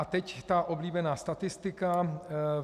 A teď ta oblíbená statistika.